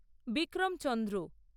Vikram Chandra